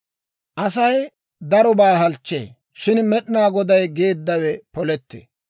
Asay darobaa halchchee; shin Med'inaa Goday geeddawe polettee.